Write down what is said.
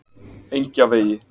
Engjavegi